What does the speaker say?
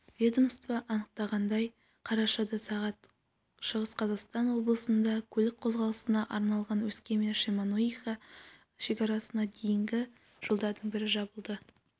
ведомствада анықтағандай қарашада сағ шығыс қазақстан облысында көлік қозғалысына арналған өскемен-шемонаиха шекарасына дейінгі жолдардың бірі жабылды